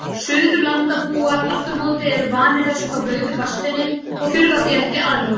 Suðurlandabúar afturámóti eru vanir þessu frá blautu barnsbeini og þurfa því ekki aðlögun.